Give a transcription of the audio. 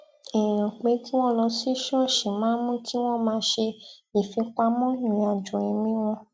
èèyàn pé kí wón lọ sí ṣóòṣì máa ń mú kí wón máa ṣe ifipamọ irinajọ ẹmi wọn